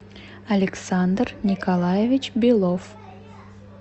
александр николаевич белов